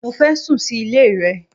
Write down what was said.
Mo fẹ́ sùn sí ilé rẹ.